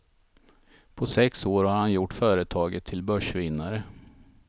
På sex år har han gjort företaget till börsvinnare.